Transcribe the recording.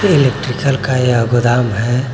Electrical का यह गोदाम है।